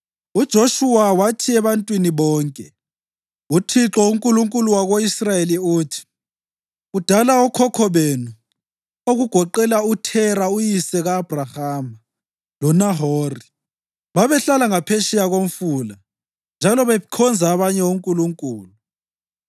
UJoshuwa wathi ebantwini bonke, “ UThixo, uNkulunkulu wako-Israyeli uthi: ‘Kudala okhokho benu, okugoqela uThera uyise ka-Abhrahama loNahori, babehlala ngaphetsheya koMfula njalo bekhonza abanye onkulunkulu.